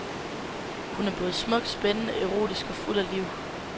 Hun er både smuk, spændende, erotisk og fuld af liv.